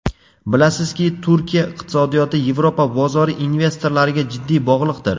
Bilamizki, Turkiya iqtisodiyoti Yevropa bozori investorlariga jiddiy bog‘liqdir.